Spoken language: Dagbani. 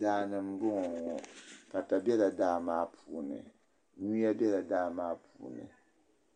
Daani mbɔŋɔ ŋɔ pata bɛla daa maa puuni yuya bɛla daa maa puuni